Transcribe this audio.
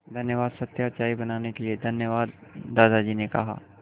धन्यवाद सत्या चाय बनाने के लिए धन्यवाद दादाजी ने कहा